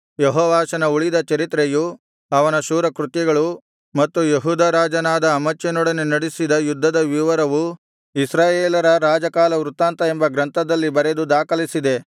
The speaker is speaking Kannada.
ಯೆಹೋವಾಷನ ಉಳಿದ ಚರಿತ್ರೆಯೂ ಅವನ ಶೂರ ಕೃತ್ಯಗಳೂ ಮತ್ತು ಯೆಹೂದ ರಾಜನಾದ ಅಮಚ್ಯನೊಡನೆ ನಡಿಸಿದ ಯುದ್ಧದ ವಿವರವೂ ಇಸ್ರಾಯೇಲರ ರಾಜಕಾಲವೃತ್ತಾಂತ ಎಂಬ ಗ್ರಂಥದಲ್ಲಿ ಬರೆದು ದಾಖಲಿಸಿದೆ